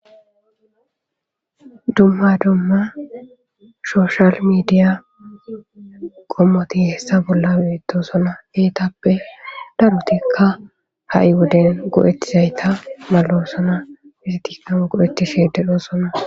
Dumma dumma shoshal mediya kommoti hessa bolla beetosona eetappe darotika ha'i woden go'etizayta malosona eetika go'etishe de'osona.